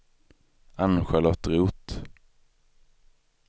Ann-Charlotte Roth